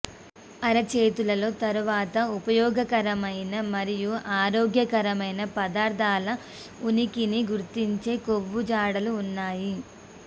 అరచేతులలో తరువాత ఉపయోగకరమైన మరియు ఆరోగ్యకరమైన పదార్ధాల ఉనికిని గుర్తించే కొవ్వు జాడలు ఉన్నాయి